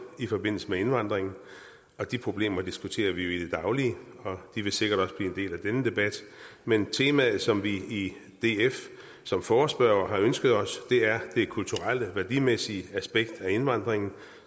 i forbindelse med indvandringen og de problemer diskuterer vi jo i det daglige og de vil sikkert også blive en del af denne debat men temaet som vi i df som forespørgere har ønsket os er det kulturelle værdimæssige aspekt af indvandringen